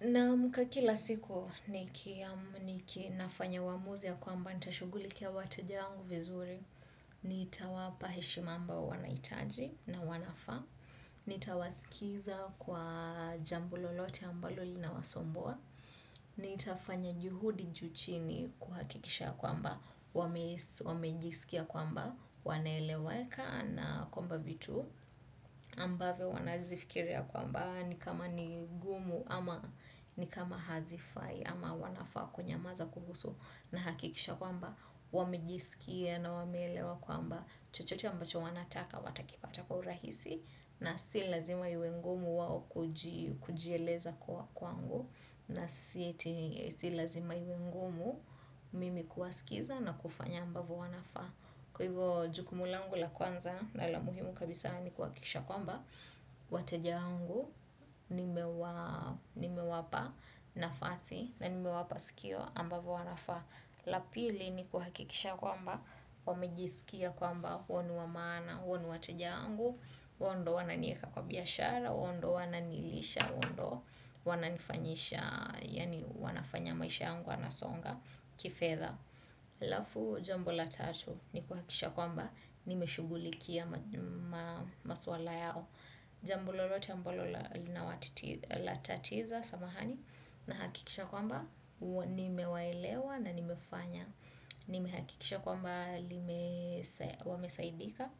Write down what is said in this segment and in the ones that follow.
Naamka kila siku niki nafanya uamuzi ya kwamba, nitashugulikia wateja wangu vizuri, nitawapa heshima ambao wanahitaji na wanafaa, nitawasikiza kwa jambo lolote ambalo linawasumbua, nitafanya juhudi juu chini kuhakikisha ya kwamba, wamejiskia kwamba wanaeleweka na kwamba vitu ambavyo wanazifikiria kwamba ni ngumu ama ni kama hazifai ama wanafaa kunyamaza kuhusu. Nahakikisha kwamba wamijisikia na wameelewa kwamba chochote ambacho wanataka watakipata kwa urahisi. Na si lazima iwe ngumu wao kujieleza kwa kwangu na si ati si lazima iwe ngumu mimi kuwasikiza na kufanya ambavyo wanafaa. Kwa hivyo jukumu langu la kwanza na la muhimu kabisa ni kuhakikisha kwamba wateja wangu nimewapa nafasi na nimewapa sikio ambavo wanafaa. La pili ni kuhakikisha kwamba wamejisikia kwamba wao ni wa maana, wao ni wateja wangu, wao ndio huwa wananieka kwa biashara, wao ndio wananilisha, wao ndio wananifanyisha. Yaani wanafanya maisha yangu yanasonga kifedha. Alafu jambo la tatu ni kuhakisha kwamba nimeshughulikia maswala yao. Jambo lolote ambalo linawatatiza samahani na hakikisha kwamba nimewaelewa na nimefanya. Nimehakikisha kwamba wamesaidika,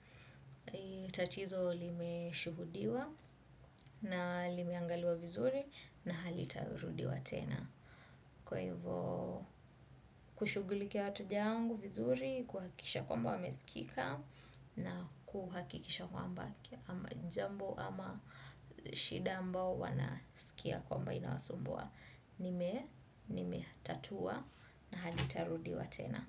tatizo limeshuhudiwa na limeangaliwa vizuri na halitawai jirudia tena. Kwa hivyo kushughulika wateja wangu vizuri, kuhakisha kwamba wamesikika na kuhakikisha kwamba ama jambo ama shida ambao wanasikia kwamba inawasumbua. Nimetatua na halitarudiwa tena.